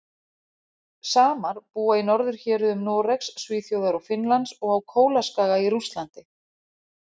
Samar búa í norðurhéruðum Noregs, Svíþjóðar og Finnlands og á Kólaskaga í Rússlandi.